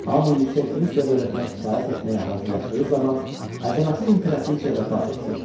Hamı yüksək Rusiya dövlətinə itaət etməyə hazırlaşdığı zaman əzəmətli imperatriça vəfat etdi.